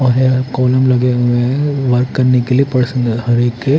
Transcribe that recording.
और यहां कॉलम लगे हुए हैं वर्क करने के लिए पर्सनल हर एक--